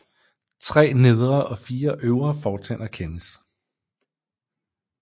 Tre nedre og fire øvre fortænder kendes